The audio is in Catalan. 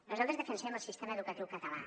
nosaltres defensem el sistema educatiu català